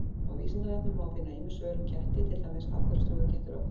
Á Vísindavefnum má finna ýmis svör um ketti, til dæmis: Af hverju strjúka kettir oft?